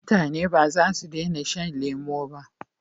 Mutane bazasu dena shan lemo ba